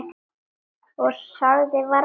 Og sagði varla orð.